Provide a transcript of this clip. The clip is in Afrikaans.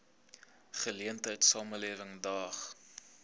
geleentheid samelewing daag